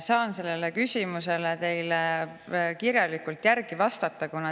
Saan sellele küsimusele teile hiljem kirjalikult vastata.